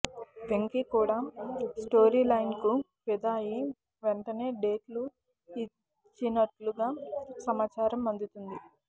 వెంకీ కూడా స్టోరీ లైన్కు ఫిదా అయ్యి వెంటనే డేట్లు ఇచ్చినట్లుగా సమాచారం అందుతుంది